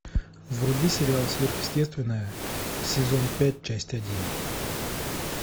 вруби сериал сверхъестественное сезон пять часть один